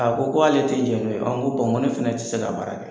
A ko ko ale tɛ diɲɛ n'o ye. ŋo ŋo ne fɛnɛ ti se ka baara kɛ.